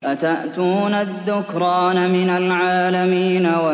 أَتَأْتُونَ الذُّكْرَانَ مِنَ الْعَالَمِينَ